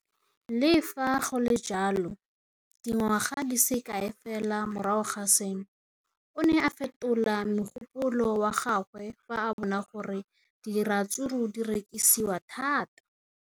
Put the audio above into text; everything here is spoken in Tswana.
Le fa go le jalo, dingwaga di se kae fela morago ga seno, o ne a fetola mogopolo wa gagwe fa a bona gore diratsuru di rekisiwa thata.